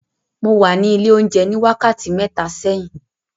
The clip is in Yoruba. Mo wà ní ilé oúnjẹ ní wákàtí mẹ́ta sẹ́yìn.